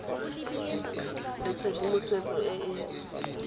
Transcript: nang le tshedimosetso e e